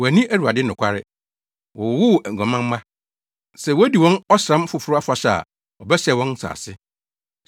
Wɔanni Awurade nokware. Wɔwowoo aguaman mma. Sɛ wodi wɔn Ɔsram Foforo Afahyɛ a, ɔbɛsɛe wɔn nsase.